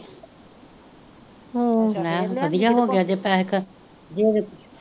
ਲੈ ਵਧੀਆ ਹੋ ਗਿਆ ਜੇ ਪੈਸੇ